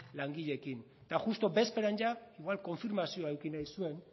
langileekin eta justu bezperan igual konfirmazioa eduki nahi zuen